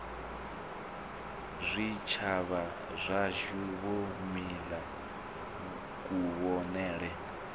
zwitshavha zwashu wo mila kuvhonele